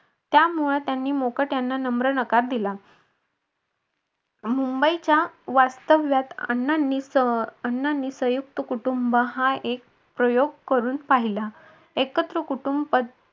त्यामुळे त्यांनी मुकाट्याने नम्र नकार दिला मुंबईच्या वास्तव्यात अण्णांनी अं अण्णांनी संयुक्त कुटुंब हा एक प्रयोग करून पाहिला. एकत्र कुटुंब